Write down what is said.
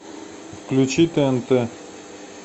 включи тнт